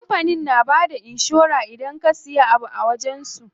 Kampanin na bada inshora idan ka siya abu a wajen su.